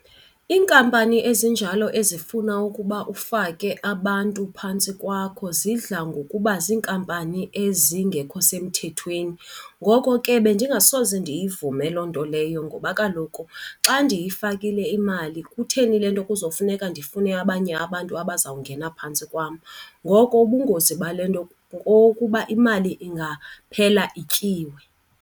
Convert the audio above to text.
Iinkampani ezinjalo ezifuna ukuba ufake abantu phantsi kwakho zidla ngokuba ziinkampani ezingekho semthethweni. Ngoko ke bendingasoze ndiyivume loo nto leyo ngoba kaloku xa ndiyifakile imali kutheni le nto kuzofuneka ndifune abanye abantu abazawungena phantsi kwam? Ngoko ubungozi bale nto kokokuba imali ingaphela ityiwe.